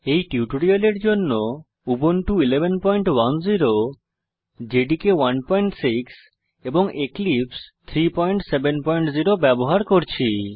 এই টিউটোরিয়ালের জন্য উবুন্টু 1110 জেডিকে 16 এবং এক্লিপসে 370 ব্যবহার করছি